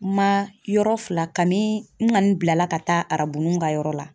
Ma yɔrɔ fila kani bilala ka taa arabunuw ka yɔrɔ la.